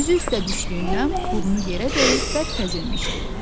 Üzü üstə düşdüyündən burnu yerə dəyib bərk əzilmişdi.